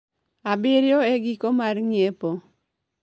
abirio e giko mar ng’iepo.